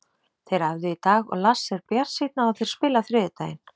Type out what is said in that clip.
Þeir æfðu í dag og Lars er bjartsýnn á að þeir spili á þriðjudaginn.